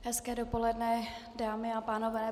Hezké dopoledne, dámy a pánové.